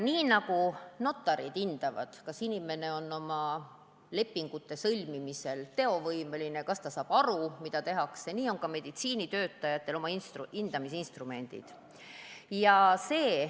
Nii nagu notarid hindavad, kas inimene on lepingute sõlmimisel teovõimeline, kas ta saab aru, mida tehakse, nii on ka meditsiinitöötajatel oma hindamisinstrumendid.